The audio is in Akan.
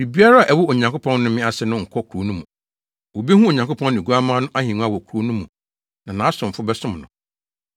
Biribiara a ɛwɔ Onyankopɔn nnome ase no nkɔ kurow no mu. Wobehu Onyankopɔn ne Oguamma no ahengua wɔ kurow no mu na nʼasomfo bɛsom no.